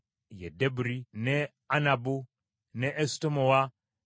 ne Anabu, n’e Esutemoa, n’e Animu,